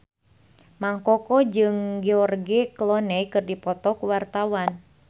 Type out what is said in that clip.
Mang Koko jeung George Clooney keur dipoto ku wartawan